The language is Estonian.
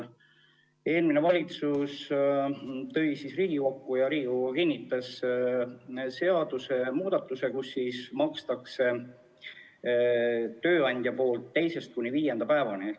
Eelmine valitsus tõi Riigikokku seadusemuudatuse – ja see kiideti heaks –, mille järgi maksab tööandja hüvitist teise kuni viienda päeva eest.